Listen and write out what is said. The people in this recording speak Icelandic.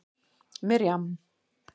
Miriam